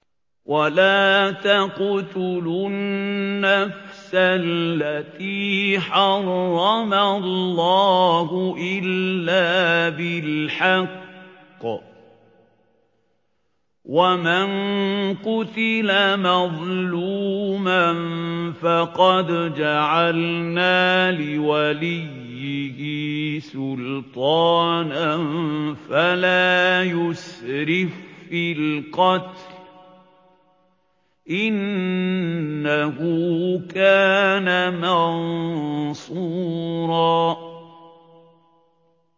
وَلَا تَقْتُلُوا النَّفْسَ الَّتِي حَرَّمَ اللَّهُ إِلَّا بِالْحَقِّ ۗ وَمَن قُتِلَ مَظْلُومًا فَقَدْ جَعَلْنَا لِوَلِيِّهِ سُلْطَانًا فَلَا يُسْرِف فِّي الْقَتْلِ ۖ إِنَّهُ كَانَ مَنصُورًا